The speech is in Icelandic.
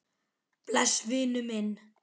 Bless vinur minn.